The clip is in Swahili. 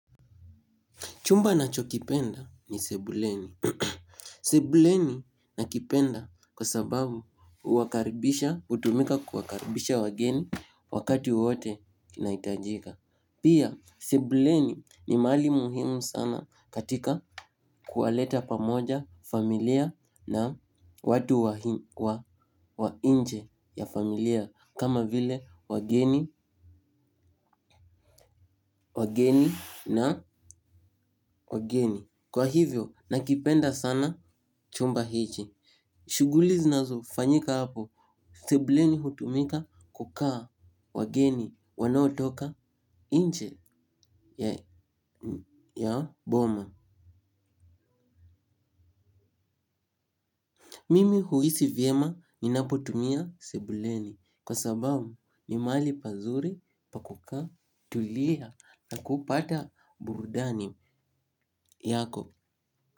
Chumba nacho kipenda ni sebuleni. Sebuleni nakipenda kwa sababu utumika kuwakaribisha wageni wakati wowote kinaitajika. Pia sebuleni ni mahali muhimu sana katika kuwaleta pamoja familia na watu wa inje ya familia kama vile wageni, wageni na wageni. Kwa hivyo nakipenda sana chumba hichi. Shuguli zinazofanyika hapo sebuleni hutumika kukaa wageni wanaotoka nche ya boma. Mimi huisi vyema ninapotumia sebuleni. Kwa sababu ni mahali pazuri pa kukaa tulia na kupata burudani yako.